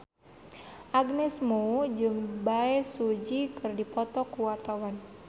Agnes Mo jeung Bae Su Ji keur dipoto ku wartawan